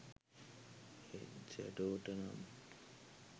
ඒත් ෂැඩෝට නම්